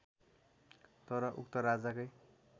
तर उक्त राजाकै